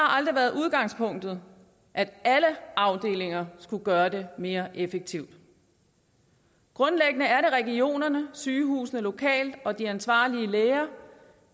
aldrig været udgangspunktet at alle afdelinger skulle gøre det mere effektivt grundlæggende er det regionerne sygehusene lokalt og de ansvarlige læger